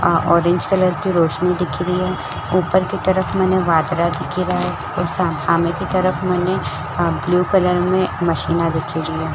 आ orange colour की रौशनी दिखिरए उपर की तरफ मने दिखीराये और सामने की तरफ मने ब्लू कलर में मशीना दिखिरै य।